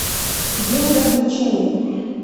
день развлечений